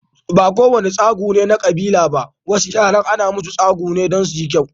Ba ko wane tsagu ne na kabila ba, wasu yaran ana musu tsagu ne don suyi kyau.